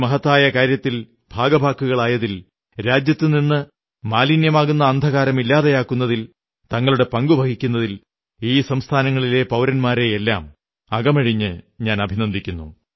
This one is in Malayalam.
ഈ മഹത്തായ കാര്യത്തിൽ ഭാഗഭാക്കുകളായതിൽ രാജ്യത്തുനിന്നു മാലിന്യമാകുന്ന അന്ധകാരം ഇല്ലാതെയാക്കുന്നതിൽ തങ്ങളുടെ പങ്കു വഹിക്കുന്നതിൽ ഈ സംസ്ഥാനങ്ങളിലെ പൌരന്മാരെയെല്ലാം അകമഴിഞ്ഞ് അഭിനന്ദിക്കുന്നു